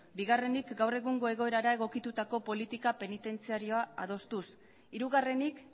bigarrenik gaur egungo egoerara egokitutako politika penitentziarioa adostuz hirugarrenik